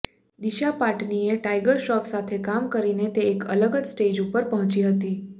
દિશા પાટનીએ ટાઈગર શ્રોફ સાથે કામ કરીને તે એક અલગ જ સ્ટેજ ઉપર પહોચી હતી